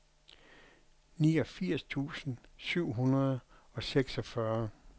niogfirs tusind syv hundrede og seksogfyrre